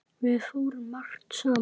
Við fórum margt saman.